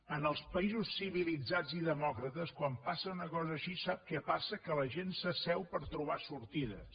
en els països civilitzats i demòcrates quan passa una cosa així sap què passa que la gent s’asseu per trobar sortides